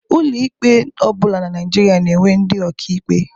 Ụlọ ikpe ọ bụla na Naịjirịa na-enwe ndị ọka ikpe.